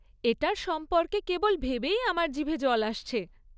এটার সম্পর্কে কেবল ভেবেই আমার জিভে জল আসছে।